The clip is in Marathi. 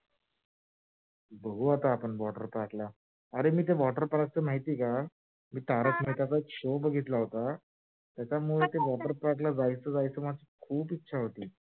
बघू आता आप water park ला अरे मी त्य water park च माहित आहे का तारक मेहेताचा एक show बघितला होता त्याच्यामुळे त्य water park ला जायची खूपच इच्छा होती.